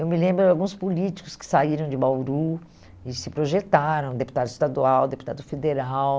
Eu me lembro de alguns políticos que saíram de Bauru e se projetaram, deputado estadual, deputado federal.